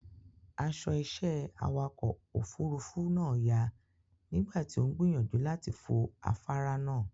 Aṣọ iṣẹ́ awakọ̀ òfurufú náà fàya nígbà tí ó ń gbìyànjú láti fo afáárá náà.